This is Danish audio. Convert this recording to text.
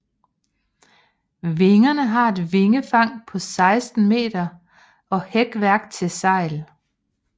Vingerne har et vingefang på 16 meter og hækværk til sejl